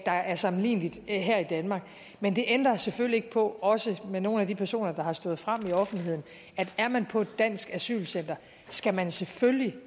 der er sammenligneligt her i danmark men det ændrer selvfølgelig ikke på også med nogle af de personer der er stået frem i offentligheden at er man på et dansk asylcenter skal man selvfølgelig